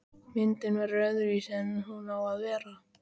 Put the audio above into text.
Myndin verður öðruvísi en hún á að vera.